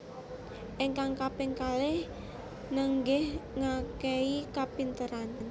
Ingkang kaping kalih nenggih ngakehi kapinteran